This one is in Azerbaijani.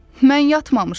Mən yatmamışam.